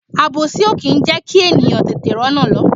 Àbòsí o kì í jẹkí ènìyàn tètè r'ona lọ.